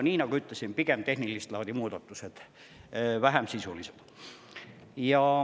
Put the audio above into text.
Nii nagu ütlesin, on need pigem tehnilist laadi muudatused, vähem sisulised.